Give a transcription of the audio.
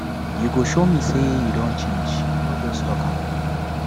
you go show me say you don change no just talk am